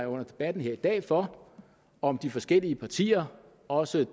under debatten her i dag for om de forskellige partier også